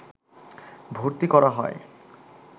ভর্তি করা হয়